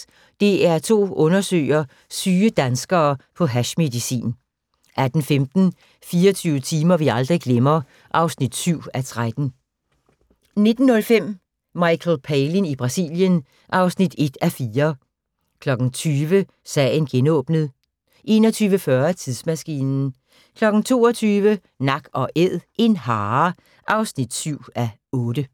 15:05: DR2 undersøger: Syge danskere på hashmedicin * 18:15: 24 timer vi aldrig glemmer (7:13) 19:05: Michael Palin i Brasilien (1:4) 20:00: Sagen genåbnet 21:40: Tidsmaskinen 22:00: Nak & Æd – en hare (7:8)